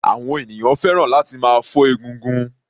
Àwọn ènìyàn fẹ́ràn láti máa fọ́ egungun.